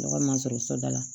Ne ka mansin so da la